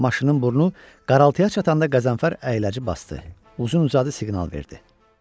Maşının burnu qaraltıya çatanda Qəzənfər əyləci basdı, uzun-uzadı siqnal verdi.